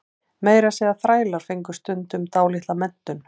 meira að segja þrælar fengu stundum dálitla menntun